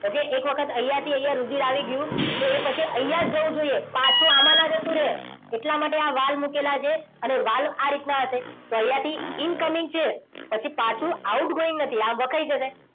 okay એક વખત અહીંયા થી અહીંયા રુધિર આવી ગયું તો એ પછી અહીંયા જ જવું જોઈએ. પાછું આમાં ના જતું રહે. એટલા માટે આ વાલ મુકેલા છે. અને એ વાલ આ રીતના હશે અને અહીંયા થી incoming છે. પાછું outgoing નથી આ વખાઈ જશે.